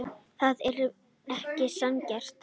Það er ekki sanngjarnt.